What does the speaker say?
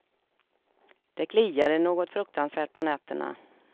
Det kliade något fruktansvärt på nätterna.